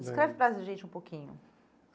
Lembro. Descreve para gente um pouquinho.